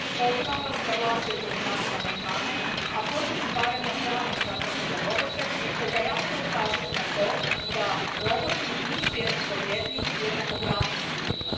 Pozivam vas da glasujete za naše amandmane, a protiv stvaranja pravnog statusa za robote te da jasno ukažete na to da roboti nisu jednakovrijedni i jednakopravni s ljudima.